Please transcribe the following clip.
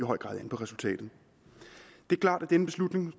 høj grad an på resultatet det er klart at denne beslutning